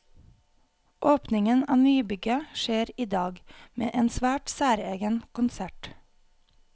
Åpningen av nybygget skjer i dag, med en svært særegen konsert.